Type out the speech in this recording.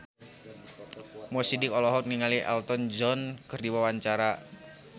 Mo Sidik olohok ningali Elton John keur diwawancara